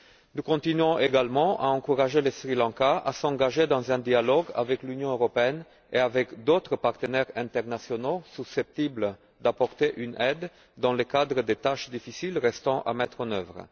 Nous continuons également à encourager le Sri Lanka à s'engager dans un dialogue avec l'Union européenne et avec d'autres partenaires internationaux susceptibles d'apporter une aide dans le cadre des tâches difficiles restant à mettre en œuvre.